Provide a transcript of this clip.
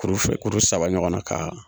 Kueu fila kueu saba ɲɔgɔn na ka